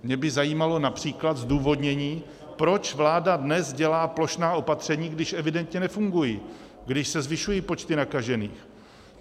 Mě by zajímalo například zdůvodnění, proč vláda dnes dělá plošná opatření, když evidentně nefungují, když se zvyšují počty nakažených.